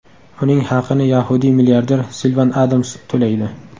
Uning haqini yahudiy milliarder Silvan Adams to‘laydi.